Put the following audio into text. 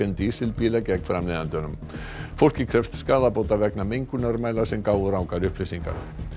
dísilbíla gegn framleiðandanum fólkið krefst skaðabóta vegna mengunarmæla sem gáfu rangar upplýsingar